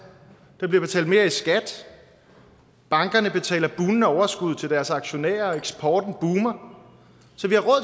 der bliver betalt mere i skat bankerne betaler bugnende overskud til deres aktionærer og eksporten boomer